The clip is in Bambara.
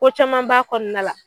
Ko caman b'a kɔnɔna na la